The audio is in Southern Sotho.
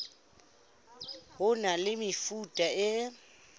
ho na le mefuta e